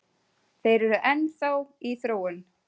Þeir eru enn þá í þróun